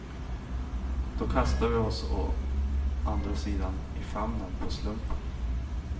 Då kastar vi oss å andra sidan i famnen på slumpen.